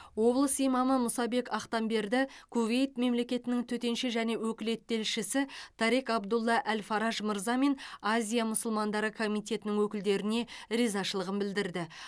облыс имамы мұсабек ақтамберді кувейт мемлекетінің төтенше және өкілетті елшісі тарек абдулла әл фараж мырза мен азия мұсылмандары комитетінің өкілдеріне ризашылығын білдірді